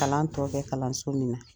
Kalan tɔ bɛ kalanso min na